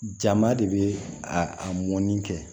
Jama de bɛ a a mɔnni kɛ